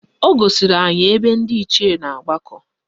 O gosiri anyị ebe ndị Ichie na-agbakọ